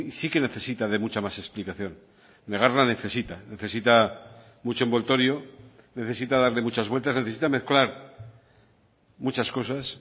sí que necesita de mucha más explicación negarla necesita necesita mucho envoltorio necesita darle muchas vueltas necesita mezclar muchas cosas